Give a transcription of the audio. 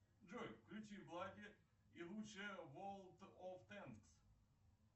джой включи блади и лучшее ворлд оф танкс